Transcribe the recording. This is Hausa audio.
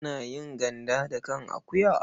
Ana yin ganda da kan akuwa.